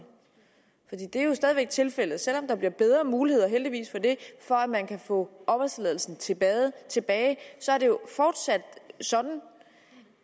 det er jo stadig væk tilfældet selv om der bliver bedre muligheder og heldigvis for det for at man kan få opholdstilladelsen tilbage tilbage er det jo fortsat sådan